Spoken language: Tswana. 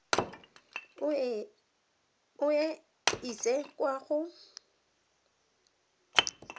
o e ise kwa go